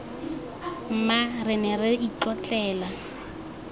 mma re ne re itlotlela